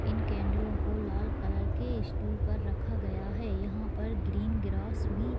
इन कैंडलो को लाल कलर के स्टूल पर रखा गया है यहाँ पर ग्रीन ग्रास भी --